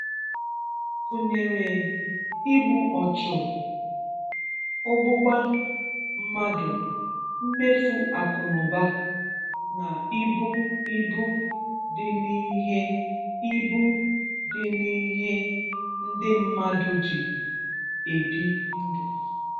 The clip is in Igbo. Gụ̀nyerè igbù̀ ọchụ̀, ọ̀gbọ̀gbà mmadụ̀, mmèfù̀ akụ̀nụ̀bà, nà ìbù̀ ìbù̀ dị́ n’ihè ìbù̀ dị́ n’ihè ndị̀ mmadụ̀ jì ebì ndụ̀.